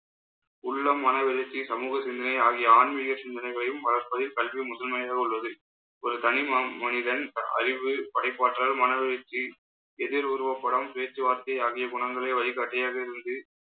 உள்ளம் மனவளர்ச்சி சமூக சிந்தனை ஆகிய ஆன்மீக சிந்தனைகளையும் வளர்ப்பதில் கல்வி முதன்மையாக உள்ளது. ஒரு தனி ம~ மனிதன் அறிவு படைப்பாற்றல் மன வளர்ச்சி எதிர் உருவப்படம் பேச்சுவார்த்தை ஆகிய குணங்களை வழிகாட்டியாக இருந்து